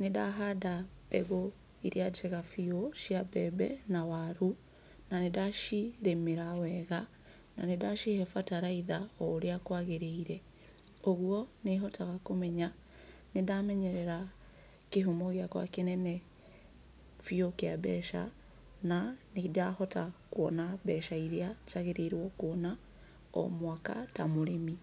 nĩndahanda mbegũ iria njega biũ cia mbembe na waru, na nĩndacirĩmĩra wega, na nĩndacihe bataraitha ũrĩa kwagĩrĩire. Ũguo nĩ hotaga kũmenya atĩ nĩndamenyerera kĩhumo gĩakwa kĩnene biũ kĩa mbeca, na nĩndahota kuona mbeca iria njagĩrĩirwo kuona o mwaka ta mũrĩmi.